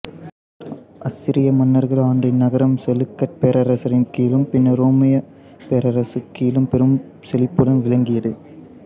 அசிரிய மன்னர்கள் ஆண்ட இந்நகரம் செலுக்கட் பேரரசின் கீழும் பின்னர் உரோமைப் பேரரசு கீழும் பெரும் செழிப்புடன் விளங்கியது